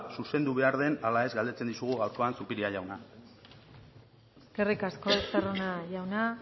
zuzendu behar den ala ez galdetzen dizugu gaurkoan zupiria jauna eskerrik asko estarrona jauna